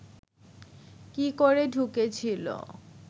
কি করে ঢুকেছিল